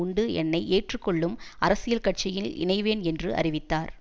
உண்டு என்னை ஏற்றுக்கொள்ளும் அரசியல் கட்சியில் இணைவேன் என்று அறிவித்தார்